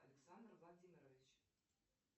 александр владимирович